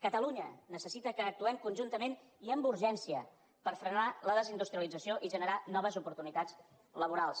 catalunya necessita que actuem conjuntament i amb urgència per frenar la desindustrialització i generar noves oportunitats laborals